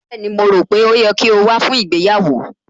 Bẹ́ẹ̀ni, mo rò pé ó yẹ kí o wá fún ìgbéyàwó